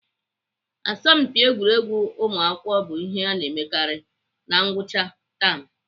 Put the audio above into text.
Asọmpi egwuregwu ụmụakwụkwọ bụ ihe ana emekarị na ngwụcha tam.